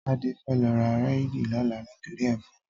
Tade fè lò rá réidí lòlá nitóri èfòn